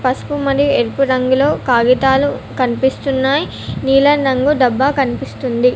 పసుపు మరియు ఎరుపు రంగులో కాగితాలు కనిపిస్తున్నాయి నీలం రంగు డబ్బా కనిపిస్తుంది.